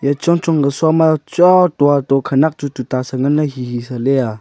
e chong chong ku sho ma chua dua do khanak chuyu ta sa nganle hihi sa le aa.